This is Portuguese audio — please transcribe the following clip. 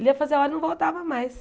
Ele ia fazer a hora e não voltava mais.